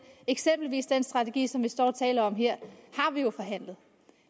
eksempelvis den strategi som vi står og taler om her har vi jo forhandlet